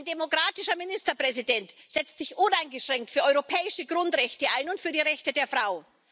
Ein demokratischer Ministerpräsident setzt sich uneingeschränkt für europäische Grundrechte ein und für die Rechte der Frau.